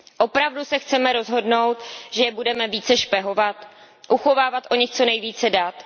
Opravdu se chceme rozhodnout, že je budeme více špehovat, uchovávat o nich co nejvíce dat?